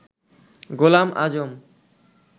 Golam Azam